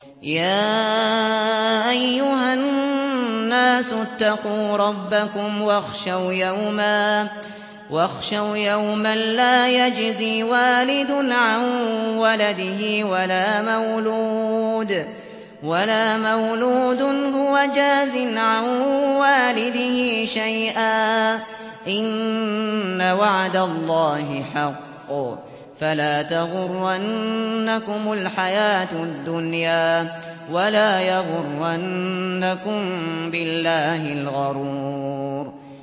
يَا أَيُّهَا النَّاسُ اتَّقُوا رَبَّكُمْ وَاخْشَوْا يَوْمًا لَّا يَجْزِي وَالِدٌ عَن وَلَدِهِ وَلَا مَوْلُودٌ هُوَ جَازٍ عَن وَالِدِهِ شَيْئًا ۚ إِنَّ وَعْدَ اللَّهِ حَقٌّ ۖ فَلَا تَغُرَّنَّكُمُ الْحَيَاةُ الدُّنْيَا وَلَا يَغُرَّنَّكُم بِاللَّهِ الْغَرُورُ